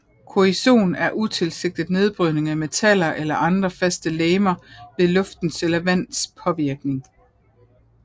Korrosion er utilsigtet nedbrydning af metaller eller andre faste legemer ved luftens eller vands påvirkning